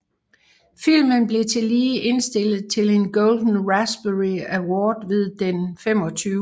Filmen blev tillige indstillet til en Golden Raspberry Award ved den Den 25